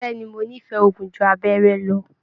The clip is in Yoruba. Bẹ̀ẹ́ni, mo n'ifẹ òògùn jù abẹrẹ lọ.